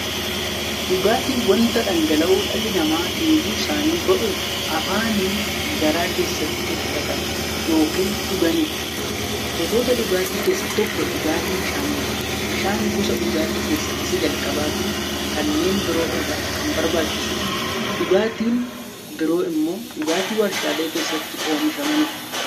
Dhugaatiin wanta dhangala'oo dhalli namaa dheebuu isaanii ba'uuf, afaaniin gara keessaatti fudhatan yookiin dhuganidha. Gosoota dhugaatii keessaa tokko dhugaatii bishaaniti. Bishaan gosa dhugaatii keessaa isa jalqabaafi kanneen biroo irra kan barbaachisuudha. Dhugaatiin biroo immoo dhugaatii waarshalee keessatti oomishamanidha.